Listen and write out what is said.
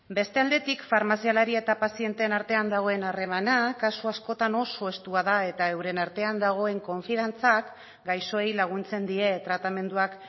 beste aldetik farmazialari eta pazienteen artean dagoen harremana kasu askotan oso estua da eta euren artean dagoen konfiantzak gaixoei laguntzen die tratamenduak